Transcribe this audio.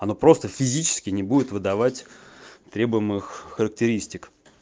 оно просто физически не будет выдавать требуемых характеристик